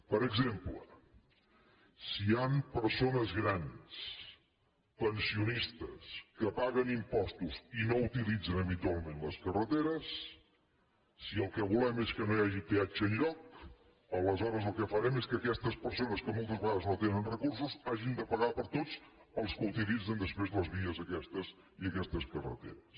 per exemple si hi han persones grans pensionistes que paguen impostos i no utilitzen habitualment les carreteres si el que volem és que no hi hagi peatge enlloc aleshores el que farem és que aquestes persones que moltes vegades no tenen recursos hagin de pagar per tots els que utilitzen després les vies aquestes i aquestes carreteres